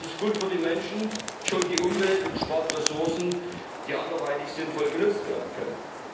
Das ist gut für die Menschen, schont die Umwelt und spart Ressourcen, die anderweitig sinnvoll genutzt werden können.